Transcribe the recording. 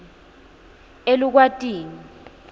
elukwatini